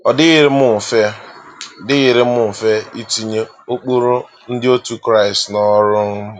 Ọ dịrịghị m mfe dịrịghị m mfe itinye ụkpụrụ ndị otu Kraịst n’ọrụ. um